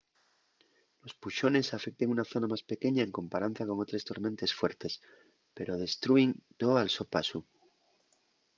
los puxones afecten una zona más pequeña en comparanza con otres tormentes fuertes pero destrúin too al so pasu